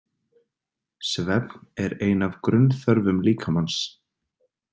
Svefn er ein af grunnþörfum líkamans.